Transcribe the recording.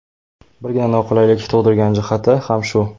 Birgina noqulaylik tug‘diradigan jihati ham shu.